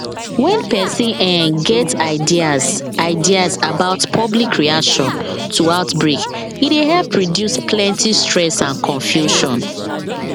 when person um get ideas ideas about public reaction to outbreak e dey help reduce plenty stress and confusion